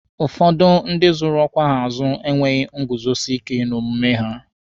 Ụfọdụ ndị zụrụ ọkwa ha azụ enweghị nguzosike n'omume ha